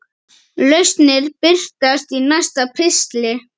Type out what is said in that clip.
Lausnir birtast í næsta pistli.